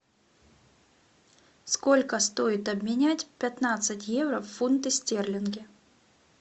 сколько стоит обменять пятнадцать евро в фунты стерлинги